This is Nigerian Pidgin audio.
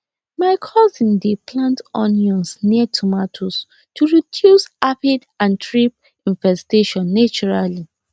my cousin dey plant onions near tomatoes to reduce aphid and thrip infestation naturally